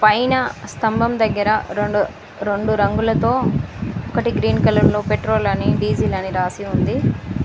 పైన స్తంభం దగ్గర రొండు రొండు రంగులతో ఒకటి గ్రీన్ కలర్లో పెట్రోల్ అని డీజిల్ అని రాసి ఉంది.